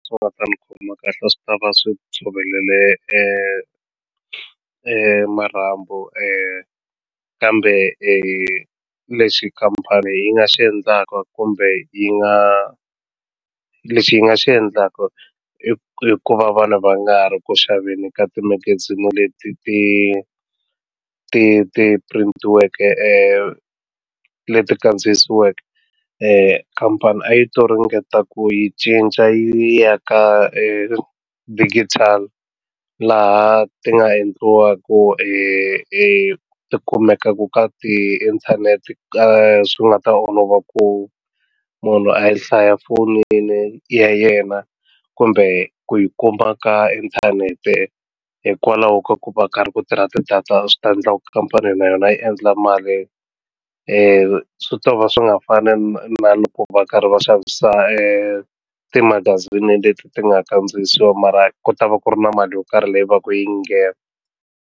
Swi nga ta ni khoma kahle swi ta va swi tshovelele marhambu kambe lexi khampani yi nga xi endlaka kumbe yi nga lexi ni nga xi endlaka i ku va vana va nga ri ku xaveni ka timagazini leti ti ti ti purintiweke leti kandziyisiweke khampani a yi to ringeta ku yi cinca yi ya ka digital laha ti nga endliwaku hi hi ti kumekaku ka tiinthanete ka swi nga ta olova ku munhu a yi hlaya fonini ya yena kumbe ku yi kuma ka inthanete hikwalaho ka ku va karhi ku tirha ti-data swi ta endla ku khampani na yona yi endla mali i swi to va swi nga fani na loko va karhi va xavisa timagazini leti ti nga kandziyisiwa mara ku ta va ku ri na mali yo karhi leyi va ka yi nghena.